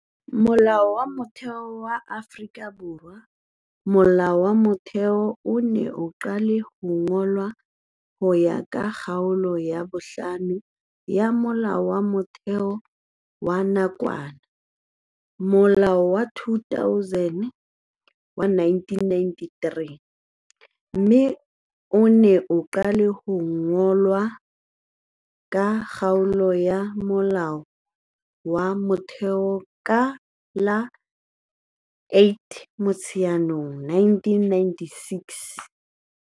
Molao wa Motheo wa Afrika Borwa Molao wa Motheo o ne o qale ho ngolwa ho ya ka Kgaolo ya 5 ya Molao wa Motheo wa nakwana, Molao wa 200 wa 1993, mme o ne o qale ho ananelwa ke Lekgotla la Molao wa Motheo ka la 8 Motsheanong 1996.